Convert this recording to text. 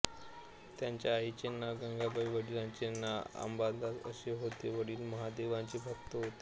त्यांच्या आईचे नाव गंगाबाई वडिलांचे नाव अंबादास असे होते वडील महादेवाचे भक्त होते